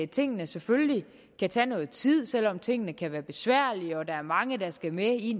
tingene selvfølgelig kan tage nogen tid selv om tingene kan være besværlige og der er mange der skal med i